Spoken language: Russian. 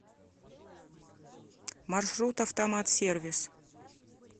маршрут автомат сервис